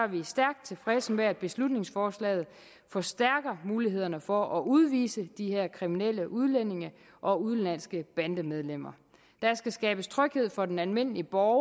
vi stærkt tilfredse med at beslutningsforslaget vil forstærke mulighederne for at udvise de her kriminelle udlændinge og udenlandske bandemedlemmer der skal skabes tryghed for den almindelige borger